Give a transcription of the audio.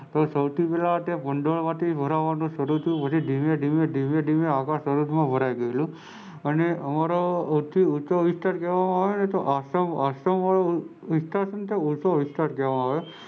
સૌથી પેહલા તે ભંડોળ માંથી ભરવાનું શરુ થયું અને ધીમે ધીમે આગળ સરોવર ભરાઈ ગયેલું અને અમારો સૌથી ઓછો વિસ્તાર કહેવામાં આવે કે આસામ બાજુ તે સૌથી ઓછો વિસ્તાર કહેવામાં આવે.